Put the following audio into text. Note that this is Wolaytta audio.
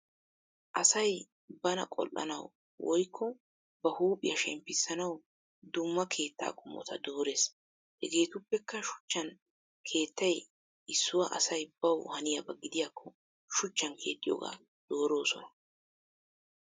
Asay bana qol'anawu woyikko ba huuphiya shemppissanawu dumma keetta qomota dorees. Hegetuppekka shuchan keettay issuwa asay bawu hanniyaba giidayakko shuchan keexxiyooga doroosona.